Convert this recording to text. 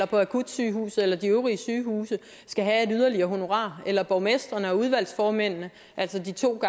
på akutsygehuset eller de øvrige sygehuse skal have et yderligere honorar og gælder borgmestrene og udvalgsformændene altså de to